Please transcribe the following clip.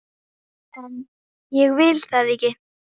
En ég vil það ekki.